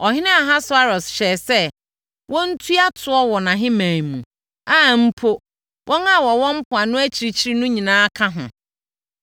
Ɔhene Ahasweros hyɛɛ sɛ wɔntua toɔ wɔ nʼahemman mu, a mpo wɔn a wɔwɔ mpoano akyirikyiri no nyinaa ka ho.